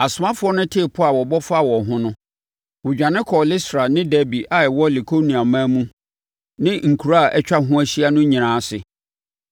Asomafoɔ no tee pɔ a wɔbɔ faa wɔn ho no, wɔdwane kɔɔ Listra ne Derbe a ɛwɔ Likaoniaman mu ne nkuraa a atwa ho ahyia no nyinaa ase.